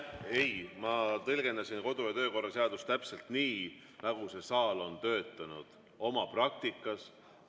Ei, ma tõlgendasin kodu‑ ja töökorra seadust täpselt nii, nagu see saal on oma praktikas töötanud.